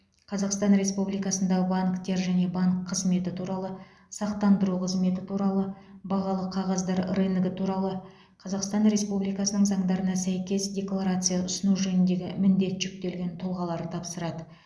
қазақстан республикасындағы банктер және банк қызметі туралы сақтандыру қызметі туралы бағалы қағаздар рыногы туралы қазақстан республикасының заңдарына сәйкес декларация ұсыну жөніндегі міндет жүктелген тұлғалар тапсырады